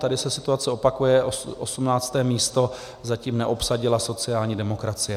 Tady se situace opakuje, 18. místo zatím neobsadila sociální demokracie.